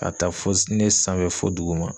Ka taa fo ne sanfɛ fo duguma.